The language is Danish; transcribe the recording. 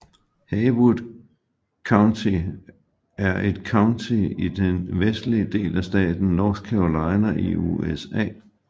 Haywood County er et county i den vestlige del af staten North Carolina i USA